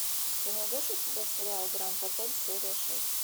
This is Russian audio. ты найдешь у себя сериал гранд отель серия шесть